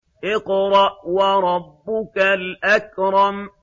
اقْرَأْ وَرَبُّكَ الْأَكْرَمُ